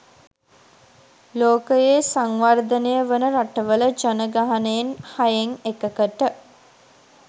ලෝකයේ සංවර්ධනය වන රටවල ජනගහනයෙන් හයෙන් එකකට